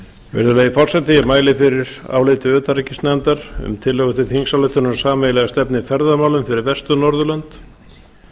virðulegi forseti ég mæli fyrir áliti utanríkisnefndar um tillögu til þingsályktunar um sameiginlega stefnu í ferðamálum fyrir vestur norðurlönd